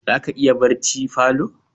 Za ka iya yin barci falo